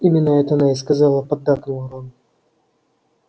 именно это она и сказала поддакнул рон